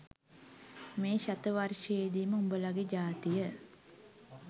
මේ ශත වර්ෂයේදීම උඹලගෙ ජාතිය